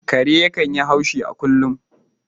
Kare yakan yi haushi a kullum